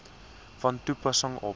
van toepassing op